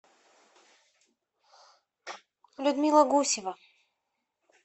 людмила гусева